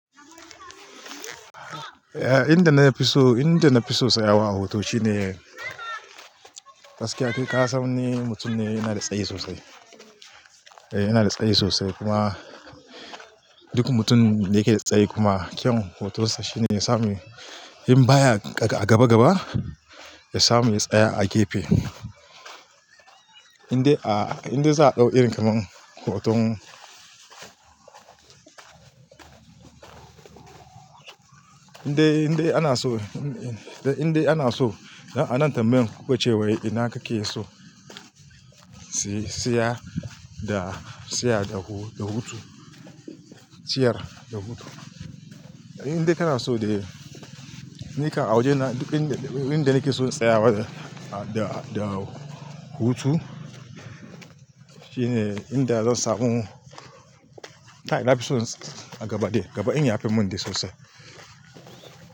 Eh, inda na fi so, inda na fi so tsayawa a hutu shine gaskiya kai ka san ni mutum ne yana da tsayi sosai. Eh yana da tsayi sosai kuma duk mutum da yake da tsayi kuma kyan hutunsa shine yasa mai, in baya gaba gaba, ya samu ya tsaya a gefe. Inda, za a ɗau irin kamar hutun Inda, inda ana so, inda ana so a nan tambayan kuɓancewar ina kake so si, siya da siya da hutu, siyar da hutu. Inda kana so ne, nika awaje ne duk inda, inda kike so tsayawa da, da, da hutu shine inda zan samu kai na fi so a gaba dai gaba in ya fi mun dai sosai.